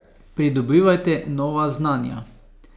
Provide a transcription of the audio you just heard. Pridobivajte nova znanja.